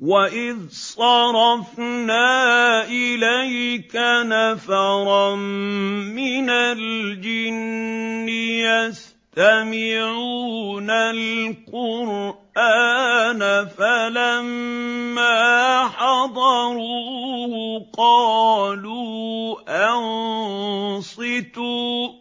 وَإِذْ صَرَفْنَا إِلَيْكَ نَفَرًا مِّنَ الْجِنِّ يَسْتَمِعُونَ الْقُرْآنَ فَلَمَّا حَضَرُوهُ قَالُوا أَنصِتُوا ۖ